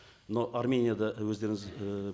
но арменияда өздеріңіз і